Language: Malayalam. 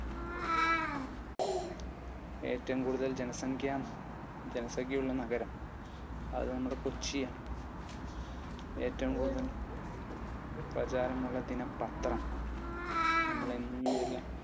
ഏറ്റവും കൂടുതൽ ജനസംഖ്യയുള്ള നഗരം? അത് നമ്മുടെ കൊച്ചിയാണ്. ഏറ്റവും കൂടുതൽ പ്രചാരമുള്ള ദിനപത്രം? നമ്മൾ എന്നും